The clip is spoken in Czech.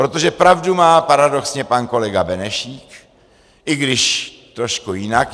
Protože pravdu má paradoxně pan kolega Benešík, i když trošku jinak.